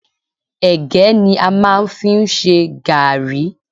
Ẹ̀gẹ́ ni a máa ń fi ń ṣe garri.